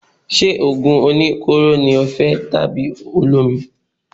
Ṣé òògùn oníkóró ni o fẹ́ ni àbí olómi.